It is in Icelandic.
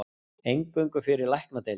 Eingöngu fyrir læknadeild